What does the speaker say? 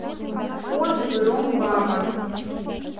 отзывы ром баба